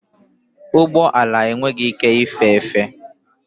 Ụgbọ ala enweghị ike ife efe.